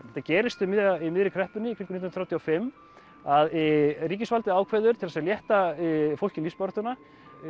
þetta gerist í miðri kreppunni kringum nítján hundruð þrjátíu og fimm að ríkisvaldið ákveður til þess að létta fólki lífsbaráttuna